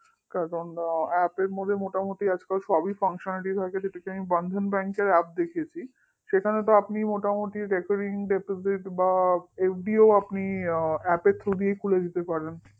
apps মধ্যে আজকাল মোটামুটি সবই functionality থাকে যেখানে আমি Bandhan Bank র apps দেখেছি সেখানে তো আপনি মোটামুটি recurrringdeposit বা FD ও apps এর through দিয়েই খুলে দিতে পারেন